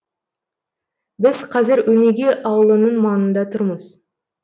біз қазір өнеге ауылының маңында тұрмыз